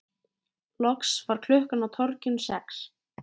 Loks varð klukkan á torginu sex.